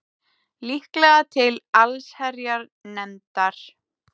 Líklega til allsherjarnefndar